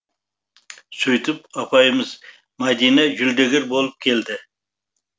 сөйтіп апайымыз мадина жүлдегер болып келді